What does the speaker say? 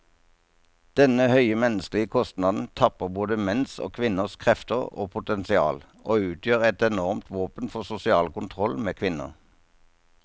Denne høye menneskelige kostnaden tapper både menns og kvinners krefter og potensial, og utgjør et enormt våpen for sosial kontroll med kvinner.